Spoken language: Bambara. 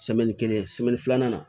kelen filanan